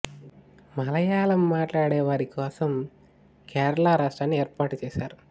మలయాళం మాట్లాడే వారి కోసం కేరళ రాష్ట్రాన్ని ఏర్పాటు చేశారు